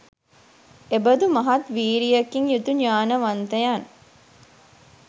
එබඳු මහත් වීරියකින් යුතු ඤාණවන්තයන්